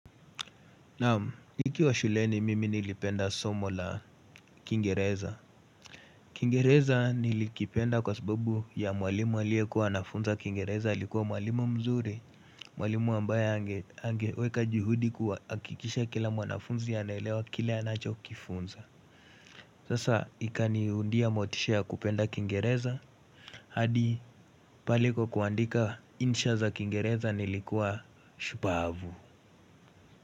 Nikiwa shuleni mimi nilipenda somo la kingereza Kingereza nilikipenda kwa subabu ya mwalimu alie kuwa anafunza kingereza likuwa mwalimu mzuri Mwalimu ambaye angeweka juhudi kuwa kuhakikisha kila mwanafunzi anaelewa kile anacho kifunza Sasa ikaniundia motisha ya kupenda kingereza hadi pale kwa kuandika insha za kingereza nilikuwa shupavu.